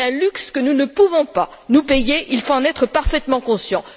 C'est un luxe que nous ne pouvons pas nous payer, il faut en être parfaitement conscient.